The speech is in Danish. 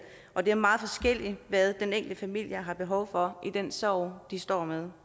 og det er meget forskelligt hvad den enkelte familie har behov for i den sorg de står med